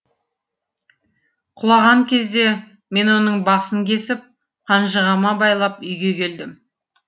құлаған кезде мен оның басын кесіп қанжығама байлап үйге келдім